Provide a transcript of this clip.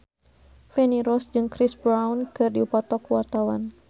Feni Rose jeung Chris Brown keur dipoto ku wartawan